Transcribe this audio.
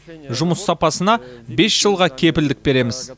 жұмыс сапасына бес жылға кепілдік береміз